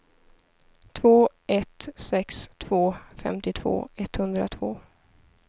två ett sex två femtiotvå etthundratvå